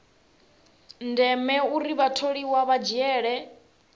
ndeme uri vhatholiwa vha dzhiele